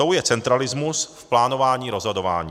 Tou je centralismus v plánování rozhodování.